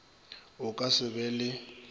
o ka se be le